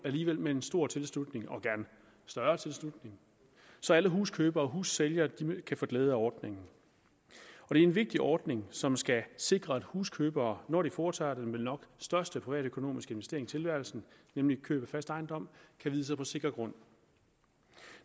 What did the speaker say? alligevel med en stor tilslutning og gerne større tilslutning så alle huskøbere og hussælgere kan få glæde af ordningen det er en vigtig ordning som skal sikre at huskøbere når de foretager den vel nok største privatøkonomiske investering i tilværelsen nemlig køb af fast ejendom kan vide sig på sikker grund